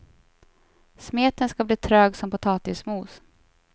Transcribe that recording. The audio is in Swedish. Smeten ska bli trög som potatismos.